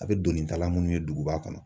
A bɛ donitala munnu ye duguba kɔnɔ.